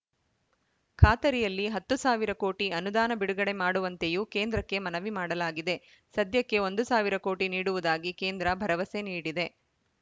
ಖಾತರಿಯಲ್ಲಿ ಹತ್ತು ಸಾವಿರ ಕೋಟಿ ಅನುದಾನ ಬಿಡುಗಡೆ ಮಾಡುವಂತೆಯೂ ಕೇಂದ್ರಕ್ಕೆ ಮನವಿ ಮಾಡಲಾಗಿದೆ ಸದ್ಯಕ್ಕೆ ಒಂದು ಸಾವಿರ ಕೋಟಿ ನೀಡುವುದಾಗಿ ಕೇಂದ್ರ ಭರವಸೆ ನೀಡಿದೆ